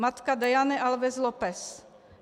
Matka Daiane Alves Lopes.